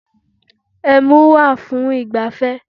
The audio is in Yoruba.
Ẹmu wà fún ìgbafẹ́